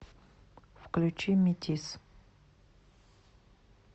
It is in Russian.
включи метис